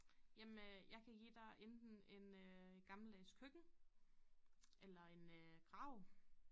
Jamen øh jeg kan give dig enten en øh gammeldags køkken eller en øh grav